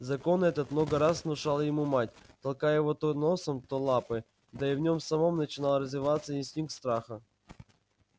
закон этот много раз внушала ему мать толкая его то носом то лапой да и в нем самом начинал развиваться инстинкт страха